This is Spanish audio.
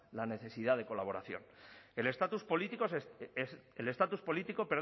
la necesidad de colaboración el estatus político